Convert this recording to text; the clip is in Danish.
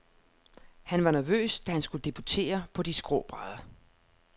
Han var nervøs, da han skulle debutere på de skrå brædder.